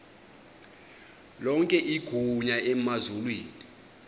lonke igunya emazulwini